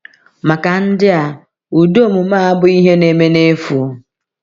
Maka ndị a, ụdị omume a abụghị ihe na-eme n’efu.